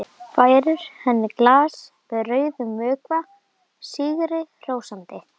Færir henni glas með rauðum vökva sigri hrósandi.